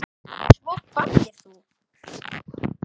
Svo kvaddir þú.